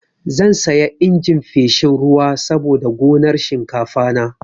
Zan saya injin feshin ruwa saboda gonar shinkafana.